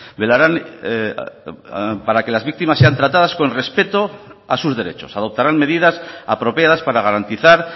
velarán para que las víctimas sean tratadas con respeto a sus derechos adoptarán medidas apropiadas para garantizar